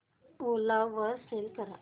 ओला वर सेल कर